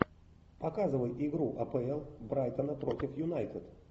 показывай игру апл брайтона против юнайтед